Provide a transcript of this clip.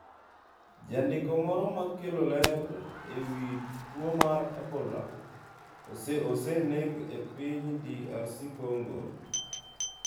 Jandiko moro makelo ler ewi tuo mar Ebola oseneg e piny DR Kongo